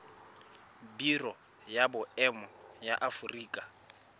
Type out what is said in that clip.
biro ya boemo ya aforika